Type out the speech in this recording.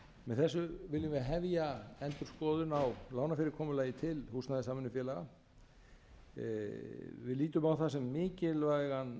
með þessu viljum við hefja endurskoðun á lánafyrirkomulagi til húsnæðissamvinnufélaga við lítum á það sem mikilvægan